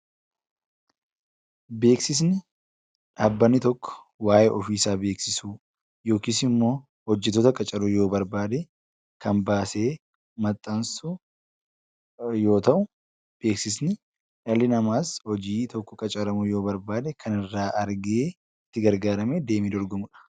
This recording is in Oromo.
Beeksisni dhaabbanni tokko waayee ofiisaa beeksisuu yookisimmoo hojjatoota qacaruu yoo barbaadee kan baasee maxxansu yoo ta'u beeksisni dhalli namaas hojii tokko qacaramuu yoo barbaade kan irraa argee itti gargaaramee deemee dorgomudha.